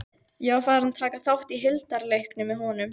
Ég var farinn að taka þátt í hildarleiknum með honum.